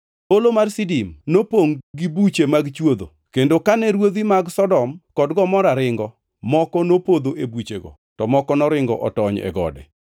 Holo mar Sidim nopongʼ gi buche mag chwodho, kendo kane ruodhi mag Sodom kod Gomora ringo, moko nopodho e buchego to moko noringo otony e gode.